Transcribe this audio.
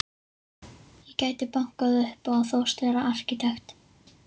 Ég gæti bankað upp á og þóst vera arkitekt.